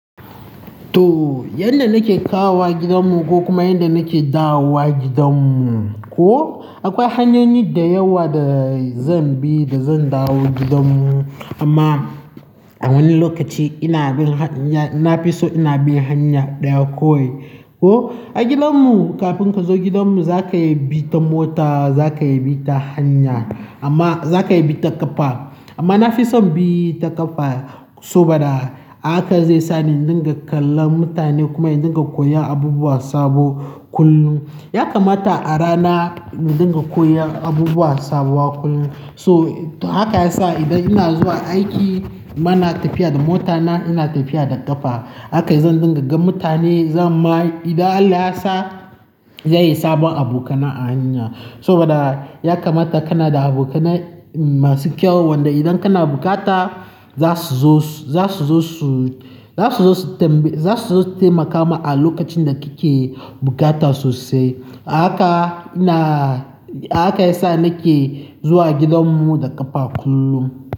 To, yanda nake kawo gidanmu ko kuma yanda nake dawo gidanmu, ko akwai hanyoyi da yawa da zan bi da zan dawo gidanmu. Amma a wani lokaci ina bin, ina fi so ina bin hanya ɗaya kawai. Ko a gidanmu kafin ka zo gidanmu za ka bi ta mota, za ka bi ta hanya amma za ka bi ta ƙafa. Amma na fi son bi ta ƙafa saboda haka zai sa ni in dinga kallon mutane kuma in dinga koyon abubuwa sabo kullum. Ya kamata a rana mu dinga koyon abubuwa sabuwa kullum. So haka ya sa idan ina zuwa aiki ba na tafiya da mota na, ina tafiya da ƙafa. Haka zan dinga gan mutane, zan ma idan Allah ya sa zai yi sabon abokana a hanya. Saboda ya kamata kana da abokanai masu kyau wanda idan kana bukata za su zo, za su zo su, tambayi, za su zo su taimaka ma a lokacin da kake bukata sosai. Haka ina, haka ya sa nake zuwa gidanmu da ƙafa kullum.